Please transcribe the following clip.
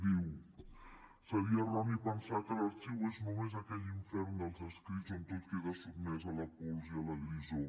diu seria erroni pensar que l’arxiu és només aquell infern dels escrits on tot queda sotmès a la pols i a la grisor